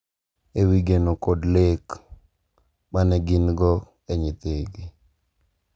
E wi geno kod lek ma ne gin-go ne nyathigi,